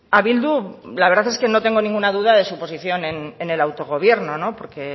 a bildu la verdad es que no tengo ninguna duda de su posición en el autogobierno no porque